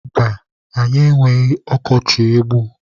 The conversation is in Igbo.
Mba, anyị enweghị ọkọchị egbu.